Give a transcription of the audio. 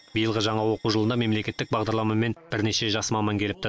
биылғы жаңа оқу жылына мемлекеттік бағдарламамен бірнеше жас маман келіпті